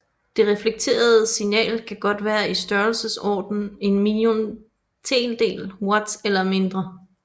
Det reflekterede signal kan godt være i størrelsesordenen en milliontedel watt eller mindre